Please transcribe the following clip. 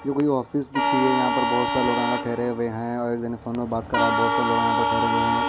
ये कोई ऑफिस दिख रही है यहां पर बहुत सारे लोग आकर ठहरे हुए हैं और एक जने फोन में बात कर रहा है बहुत सारे लोग यहां पर ठहरे हुए हैं।